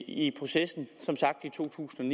i processen i to tusind